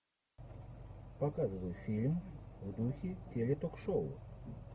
показывай фильм в духе теле ток шоу